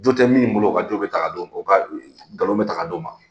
Jo tɛ min bolo o ka jo bɛ ta ka d'o ma, nkalonl bɛ ta ka d'o ma.